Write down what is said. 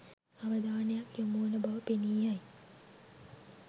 අවධානයක් යොමුවන බව පෙනී යයි.